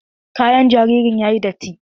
Kayan jaririn yayi datti.